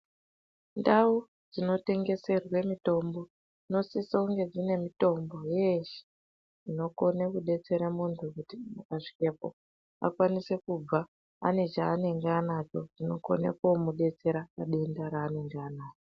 Ndau dzinotengeswere mitombo dzinosise kunge dzine mitombo yeshe inokone kudetsera munhu kuti akasvikepo akwanise kubva anechaanenge anacho chinokone komudetsera padenda raanenge anaro.